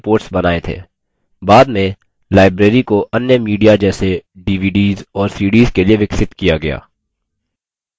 बाद में library को अन्य media जैसे dvds और cds के लिए विकसित किया गया